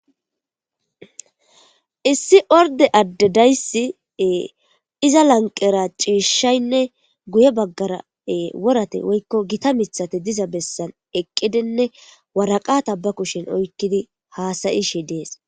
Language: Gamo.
Issi orde addedaysi iza lanqera ciishshaynne guye baggara worate woykko gita mithate diza bessan eqqidenne waraqata ba kushen oykkidi haasayishe dees